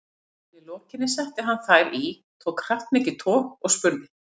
Að henni lokinni setti hann þær í, tók kraftmikið tog og spurði